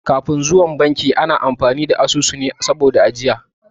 Kafin zuwan banki ana amfani da asusune wajen ajiya